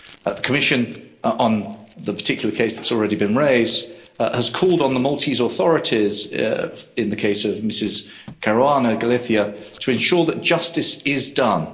The Commission, on the particular case that's already been raised, has called on the Maltese authorities, in the case of Mrs Caruana Galizia, to ensure that justice is done.